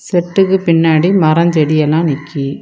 செட்டுக்கு பின்னாடி மரம் செடி எல்லா நிக்கி.